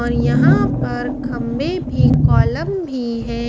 और यहाँ पर खम्भे भी कोल्लम भी है।